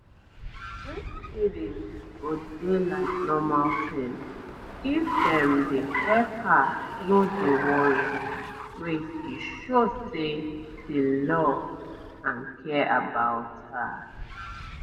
um breastfeeding go dey like normal tin if dem dey help her no dey worry wait e show say dey love and care about her